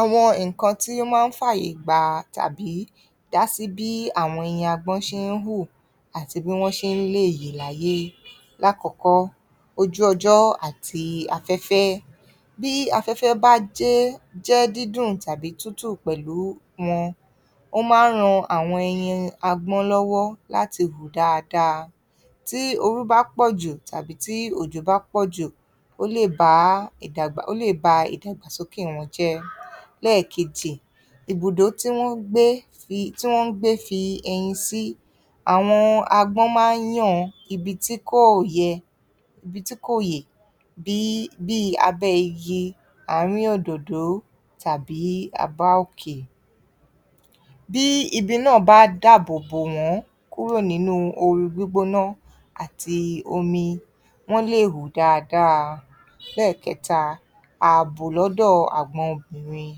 Àwọn nǹkan tí ó máa ń fààyè gba, tàbí dásí bí àwọn ẹyin agbọ́n ṣe ń hù àti bí wọ́n ṣe ń lè yè láyé. Lákọ̀ọ́kọ́, ojú-ọjọ́ àti afẹ́fẹ́. Bí afẹ́fẹ́ bá jẹ́, jẹ́ dídùn tàbí tútù pẹ̀lú wọn, wọ́n máa ń ran àwọn ẹyin agbọ́n lọ́wọ́ láti hù dáadáa. Tí ooru bá pọ̀ jù tàbí tí òjò bá pọ̀ jù, ó lè bá, ó lè ba ìdàgbàsókè wọn jẹ́. Lẹ́ẹ̀kejì, ibùdó tí wọ́n ń gbé, tí wọ́n ń gbé fi ẹyin sí. Àwọn agbọ́n máa ń yan ibi tí kò yẹ, ibi tí kò yè bí, bíi abẹ́ igi, àárín òdòdó tàbí àbá òkè. Bí ibi náà bá dáàbò bò wọ́n kúrò nínú ooru gbígbóná àti omi, wọ́n lè hù dáadáa. Lẹ́ẹ̀kẹta, ààbò lọ́dọ̀ àgbọn obìnrin.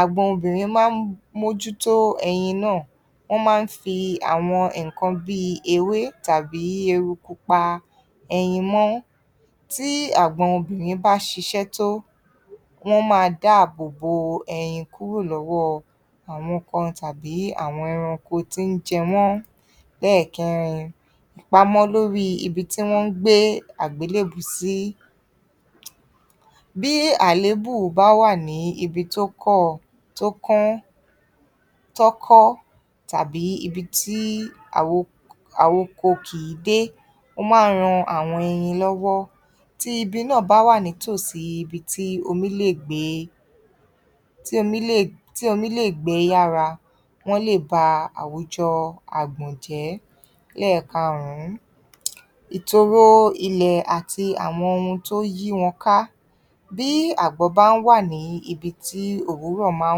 Àgbọn obìnrin máa ń mójútó ẹyin náà. Wọ́n máa ń fi àwọn nǹkan bíi ewé tàbí eruku pa ẹyin mọ́. Tí àgbọn obìnrin bá ṣiṣẹ́ tó, wọ́ máa dáàbò bo ẹyin kúrò lọ́wọ́ àwọn ọkùnrin tàbí àwọn ẹranko tó ń jẹ wọ́n. Lẹ́ẹ̀kẹrin, ìpamọ́ lóríi ibi tí wọ́n ń gbé àgbélébùú sí. Bí àléébù bá wà ní ibi tó kọ̀, tó kọ́n, tọ́kọ́ tàbí ibi tí àwo, àwoko kìí dé, ó máa ń ran àwọn ẹyin lọ́wọ́. Tí ibi náà bá wà ní tòsí ibi tí omi lè gbé, tí omi lè, tí omi lè gbé lára, wọ́n lè ba àwùjọ àgbọ̀n jẹ́. Lẹ́ẹ̀karùn-ún, ìtòro ilẹ̀ àti àwọn ohun tó yí wọn ká. Bí àgbọ̀n bá wà ní ibi tí òwúrọ̀ máa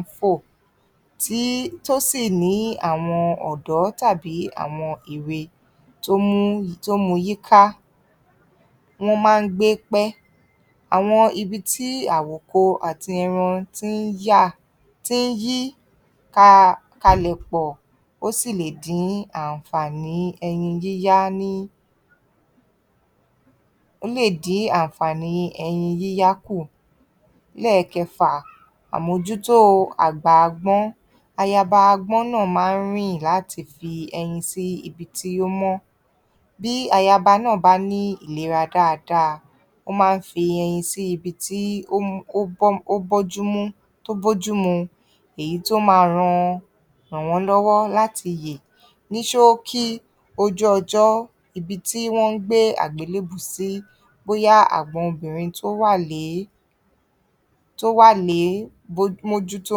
ń fò, tí, tó sì ní àwọn ọ̀dọ́ tàbí àwọn èwe tó, tó mú u yíká, wọ́n máa ń gbé pẹ́. Àwọn ibi tí àwòko àti ẹran tí ń ya, tí ń yí ka, kalẹ̀ pọ̀, ó sì lè dín ànfààní ẹyin yíyá ní, ó lè dín ànfààní ẹyin yíyá kù. Lẹ́ẹ̀kẹfà, àmójútó àgbà agbọ́n. Ayaba agbọ́n náà máa ń rìn láti fi ẹyin sí ibi tí ó mọ́. Bí ayaba náà bá ní ìlera dáadáa, ó máa ń fi ẹyin sí ibi tí ó mọ́, bójúmú, ó bójúmú, tó bójú mu, èyí tó máa ràn wọ́n lọ́wọ́ láti yè. Ní ṣóókí, ojú ọjọ́ ibi tí wọ́n ń gbé àgbélébùú sí bóyá àgbọn obìnrin tó wà lé, tó wà lé, bójú, mójú tó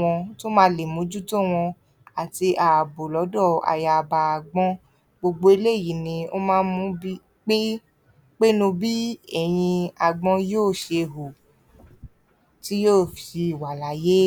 wọn, tó máa lè mójú tó wọn àti ààbò lọ́dọ̀ ayaba agbọ́n. Gbogbo eléyìí ni ó máa ń mú bí, pín, pínu bí ẹ̀yin agbọ́n yóò ṣe hù, tí yóò fi wà láyé.